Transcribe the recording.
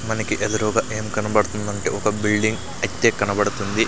మనకి ఎదురుగా ఏం కనబడుతుందంటే ఒక బిల్డింగ్ కనబడుతుంది.